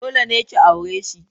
Dole ne ka aure shi!